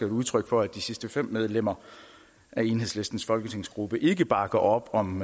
udtryk for at de sidste fem medlemmer af enhedslistens folketingsgruppe ikke bakker op om